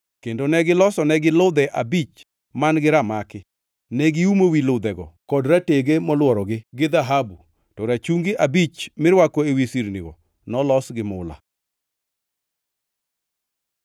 kendo ne gilosonegi ludhe abich man-gi ramaki. Ne giumo wi ludhego kod ratege molworogi gi dhahabu, to rachungi abich mirwako ewi sirnigo nolos gi mula.